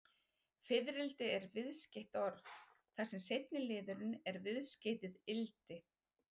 Fiðrildi er viðskeytt orð, þar sem seinni liðurinn er viðskeytið-ildi.